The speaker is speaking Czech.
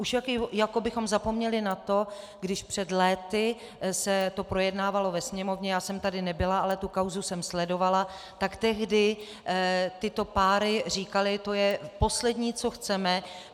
Už jako bychom zapomněli na to, když před léty se to projednávalo ve Sněmovně, já jsem tady nebyla, ale tu kauzu jsem sledovala, tak tehdy tyto páry říkaly: to je poslední, co chceme.